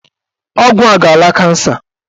Ọgwụ a ga-ala kansa.